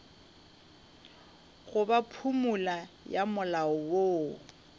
goba phumolo ya molao woo